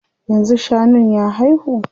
Yanzu shanun ya haihu?